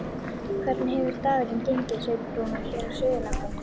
Hvernig hefur dagurinn gengið, Sveinn Rúnar, hér á Suðurlandinu?